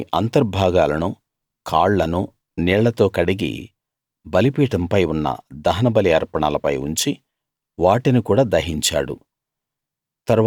దాని అంతర్భాగాలనూ కాళ్ళనూ నీళ్ళతో కడిగి బలిపీఠం పై ఉన్న దహనబలి అర్పణలపై ఉంచి వాటిని కూడా దహించాడు